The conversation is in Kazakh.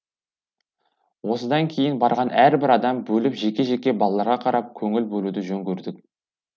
осыдан кейін барған әрбір адам бөліп жеке жеке балаларға қарап көңіл бөлуді жөн көрдік